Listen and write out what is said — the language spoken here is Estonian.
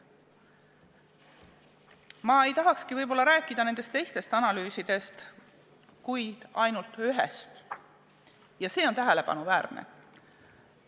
Ma võib-olla ei tahakski rääkida nendest teistest analüüsidest, vaid ainult ühest ja see on tähelepanuväärne.